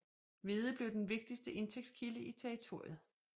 Hvede blev den vigtigste indtægtskilde i territoriet